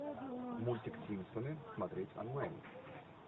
мультик симпсоны смотреть онлайн